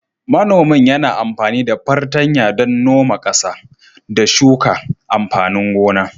Manomin yana amfani da fartanya don noma ƙasa, da shuka amfanin gona.